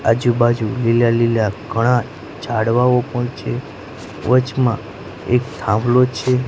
આજુ બાજુ લીલા લીલા ઘણા ઝાડવાઓ પણ છે વચમાં એક થાંભલો છે.